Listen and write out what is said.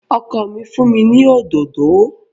Ọkọ mi fún mi ní òdòdó